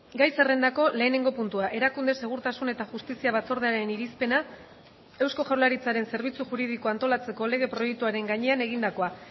gai zerrendako lehenengo puntua erakunde segurtasun eta justizia batzordearen irizpena eusko jaurlaritzaren zerbitzu juridikoa antolatzeko lege proiektuaren gainean egindakoa